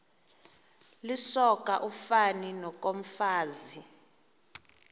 lisoka ufani nokomfazi